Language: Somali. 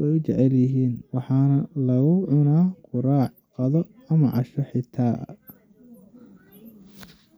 way jecel yihiin, waxaana lagu cunaa quraac, qado ama casho xita.